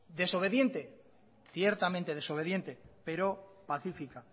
desobediente ciertamente desobediente pero pacífica